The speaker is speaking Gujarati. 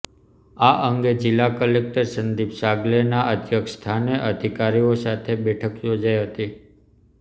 આ અંગે જીલ્લા કલેકટર સંદીપ સાગલેના અધ્યક્ષસ્થાને અધિકારીઓ સાથે બેઠક યોજાઇ હતી